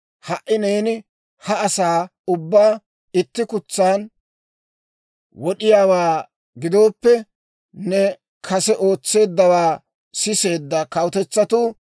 Ha"i neeni ha asaa ubbaa itti kutsan wod'iyaawaa gidooppe, ne kase ootseeddawaa siseedda kawutetsatuu,